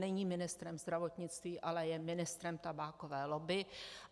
Není ministrem zdravotnictví, ale je ministrem tabákové lobby.